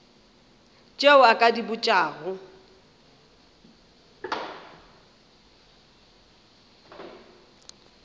tše o ka di botšago